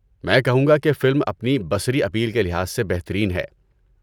میں کہوں گا کہ فلم اپنی بصری اپیل کے لحاظ سے بہترین ہے۔